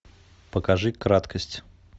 покажи краткость